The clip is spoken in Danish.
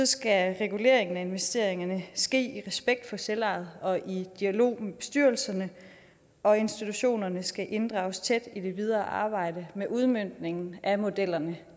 skal reguleringen af investeringerne ske i respekt for selvejet og i dialog med bestyrelserne og institutionerne skal inddrages tæt i det videre arbejde med udmøntningen af modellerne